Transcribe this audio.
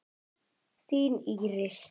Þín Íris.